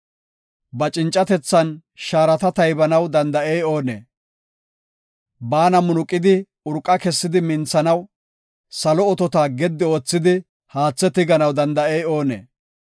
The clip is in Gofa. Ba cincatethan shaarata taybanaw danda7ey oonee? Baana munuqidi, urqa kessidi minthanaw, salo otota gedi oothidi haathe tiganaw danda7ey oonee?